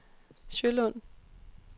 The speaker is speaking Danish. Sjølund